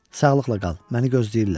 Sağlıqla qal, məni gözləyirlər.